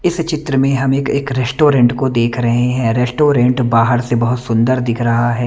इस चित्र में हम एक रेस्टोरेंट को देख रहे हैं रेस्टोरेंट बाहर से बहुत सुंदर दिख रहा है।